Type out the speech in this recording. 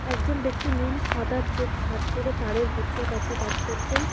একজন ব্যক্তি নীল সাদা চেক শার্ট পরে তারের গুচ্ছের কাছে কাজ করছেন।